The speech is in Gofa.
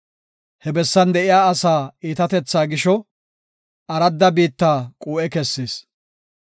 He bessan de7iya asaa iitatethaa gisho, aradda biitta quu7e kessis.